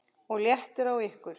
OG LÉTTIR Á YKKUR!